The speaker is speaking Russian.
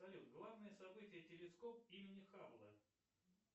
салют главное событие телескоп имени хабла